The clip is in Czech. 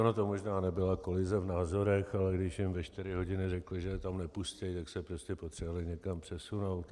Ona to možná nebyla kolize v názorech, ale když jim ve čtyři hodiny řekli, že je tam nepustí, tak se prostě potřebovali někam přesunout.